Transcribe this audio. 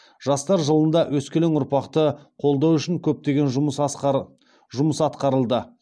жастар жылында өскелең ұрпақты қолдау үшін көптеген жұмыс атқарылды